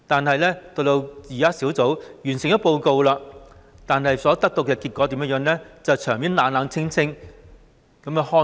可是，當專責小組完成報告後，所得的結果卻得到冷清的對待。